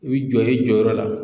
I bi jɔ i jɔyɔrɔ la